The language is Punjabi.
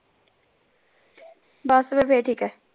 ਬਾਸ ਫੇਰ ਤੇ ਫਿਰ ਠੀਕ ਹੈ।